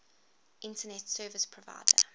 internet service provider